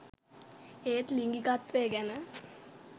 ඒත් ලිංගිකත්වය ගැන